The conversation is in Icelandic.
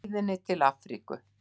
Og á leiðinni til Afríku.